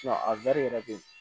a yɛrɛ be yen